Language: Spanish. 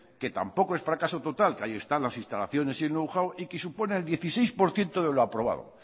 que tampoco es fracaso total que ahí están las instalaciones y el know how y que supone el dieciséis por ciento de lo aprobado